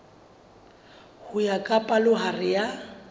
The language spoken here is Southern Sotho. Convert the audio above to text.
ho ya ka palohare ya